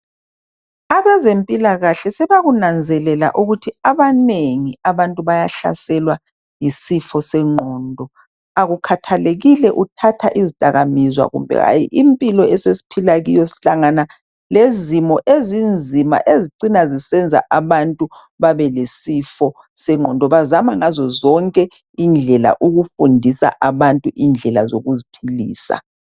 Abezempilakahle sebakunanzelela ukuthi abanengi abantu bayahlaselwa yisifo senqondo. Akukhathalekile uthatha izidakwamizwa kumbe hayi, impilo esesiphila kiyo sihlangana lezimo ezinzima ezicina zisenza abantu babe lesifo sengqondo. Bazama ngazo zonke indlela ukufundisa abantu indlela zokuziphilisa